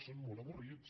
són molt avorrits